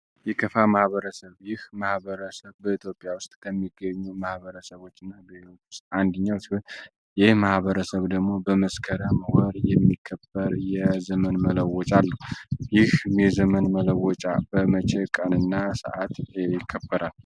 የከፋ ማህበረሰብ : ይህ ማህበረሰብ በኢትዮጵያ ዉስጥ ከሚገኙ ማህበረሰቦች ዉስጥ አንድኛዉ ሲሆን ይህ ማህበረሰብ ደግሞ መበስከረም ወር የሚከበር የዘመን መለወጫ አለዉ። ይህ የዘመን መለወጫ በመሸ ቀን እና ሰአት ይከበራል ?